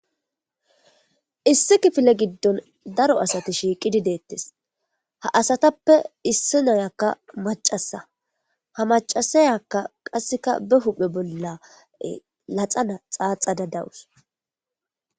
Issi kifile giddon daro asati shiiqidi deettes ha asatappe issi nayakka macasa ha macasayakka qasseka be huphe bolla laxana xaaxada dawus.